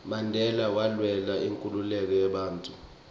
mandela walwela inkhululeko yebantfu